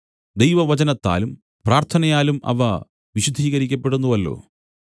ദൈവവചനത്താലും പ്രാർത്ഥനയാലും അവ വിശുദ്ധീകരിക്കപ്പെടുന്നുവല്ലോ